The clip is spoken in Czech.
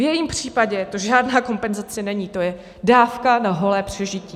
V jejím případě to žádná kompenzace není, to je dávka na holé přežití.